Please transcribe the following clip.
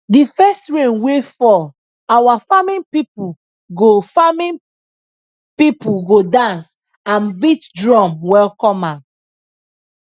the first rain wey fall our farming people go farming people go dance and beat drum welcome am